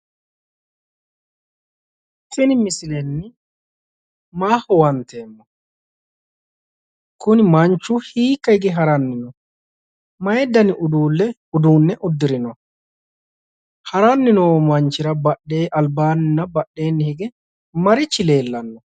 Tini misilenni maa huwanteemmo? kuni manchu hiikka hige haranni no? mayi dani uduunne uddirino? haranni noo manchira albaanninna badheenni hige marichi leellanno.